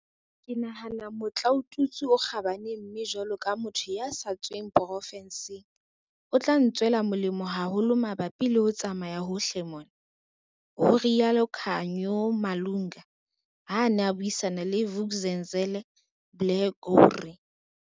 "Ke nahana ke motlaotutswe o kgabane mme jwalo ka motho ya sa tsweng porofenseng, o tla ntswela molemo haholo mabapi le ho tsamaya hohle mona," ho rialo Khanyo Malunga, ha a ne a buisana le Vuk'uzenzele, Blair gowrie.